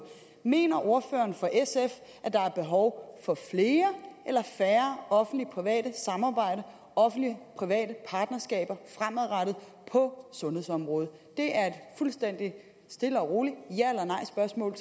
mener ordføreren for sf at der er behov for flere eller færre offentlig private samarbejder offentlig private partnerskaber fremadrettet på sundhedsområdet det er et fuldstændig stille og roligt spørgsmål